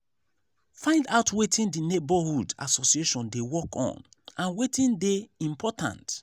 find out wetin di neighbourhood association dey work on and wetin dey important